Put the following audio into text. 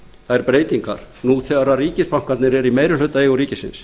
þær breytingar nú þegar ríkisbankarnir eru í meirihlutaeigu ríkisins